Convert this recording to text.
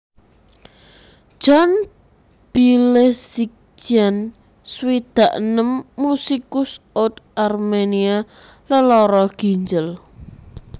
John Bilezikjian swidak enem musikus oud Arménia lelara ginjel